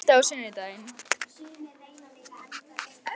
Kikka, er bolti á sunnudaginn?